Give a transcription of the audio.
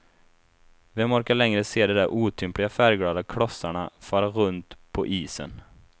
Vem orkar längre se de där otympliga färgglada klossarna fara runt på isen.